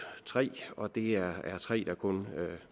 tre og det er tre